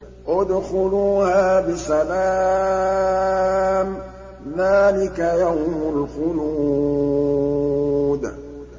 ادْخُلُوهَا بِسَلَامٍ ۖ ذَٰلِكَ يَوْمُ الْخُلُودِ